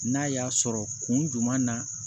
N'a y'a sɔrɔ kun juman na